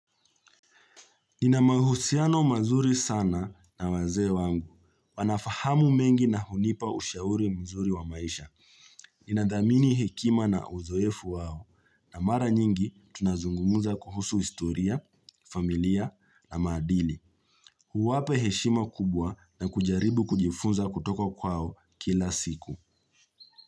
Inamahusiano mazuri sana na wazee wangu. Wanafahamu mengi na hunipa ushauri mzuri wa maisha. Inadhamini hekima na uzoefu wao. Na mara nyingi tunazungumza kuhusu historia, familia ama dini. Huwapa heshima kubwa na kujaribu kujifunza kutoka kwao kila siku.